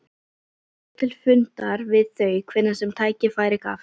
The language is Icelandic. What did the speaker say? Ég fór til fundar við þau hvenær sem tækifæri gafst.